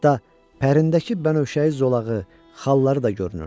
Hətta pərindəki bənövşəyi zolağı, xalları da görünürdü.